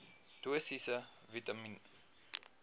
dosisse vitamien